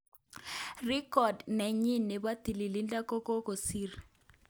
Record nenyin nebo tililido kokokisir.